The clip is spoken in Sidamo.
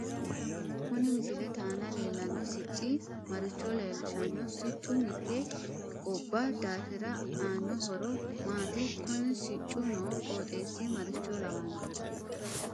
Kuni misilete aana leelanno sicci marivho leelishanno siccu mitte gaabba daafira aanno horo maati kuni siccu noo qooxeesi maricho lawanno